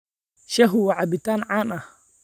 Shaahu waa cabitaan caan ah.